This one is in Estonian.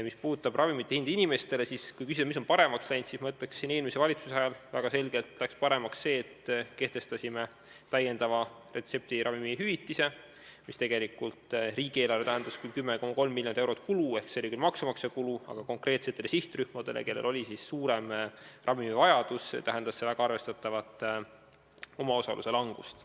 Mis puudutab inimeste makstavat ravimite hinda, siis küsimusele, mis on paremaks läinud, vastaksin ma, et eelmise valitsuse ajal läks väga selgelt paremaks see, et kehtestasime täiendava retseptiravimite hüvitise, mis riigieelarvele tähendas tegelikult küll 10,3 miljonit eurot kulu – see oli maksumaksja kulu –, aga konkreetsetele sihtrühmadele, kellel oli suurem ravimivajadus, tähendas see väga arvestatavat omaosaluse vähenemist.